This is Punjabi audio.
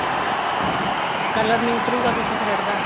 color ਨੀਂ ਉੱਤਰੂਗਾ ਕਿਸੇ thread ਦਾ